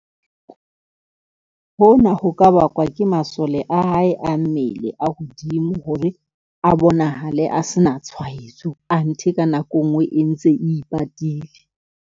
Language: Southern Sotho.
Hona ho ka bakwa ke masole a hae a mmele a hodimo hore a bonahale a se na tshwaetso. Anthe ka nako e nngwe e ntse e ipatile.